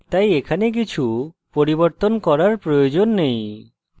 তাই এখানে কিছু পরিবর্তন করার প্রয়োজন নেই